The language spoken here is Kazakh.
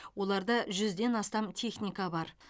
оларда жүзден астам техника бар